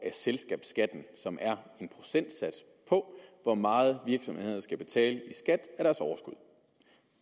af selskabsskatten som er en procentsats af hvor meget virksomhederne skal betale i skat af deres overskud